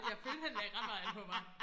Jeg følte han lagde ret meget an på mig